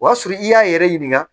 O y'a sɔrɔ i y'a yɛrɛ ɲininka